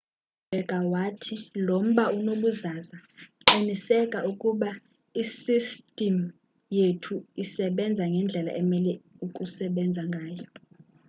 waqhubeka wathi lo mba unobuzaza qiniseka ukuba isistim yethu isbenza ngendlela emele ukusebenza ngayo